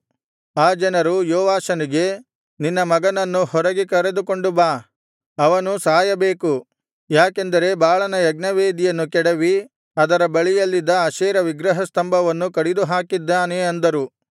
ಆ ಜನರು ಯೋವಾಷನಿಗೆ ನಿನ್ನ ಮಗನನ್ನು ಹೊರಗೆ ಕರೆದುಕೊಂಡು ಬಾ ಅವನು ಸಾಯಬೇಕು ಯಾಕೆಂದರೆ ಬಾಳನ ಯಜ್ಞವೇದಿಯನ್ನು ಕೆಡವಿ ಅದರ ಬಳಿಯಲ್ಲಿದ್ದ ಅಶೇರ ವಿಗ್ರಹಸ್ತಂಭವನ್ನು ಕಡಿದುಹಾಕಿದ್ದಾನೆ ಅಂದರು